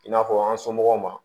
I n'a fɔ an somɔgɔw ma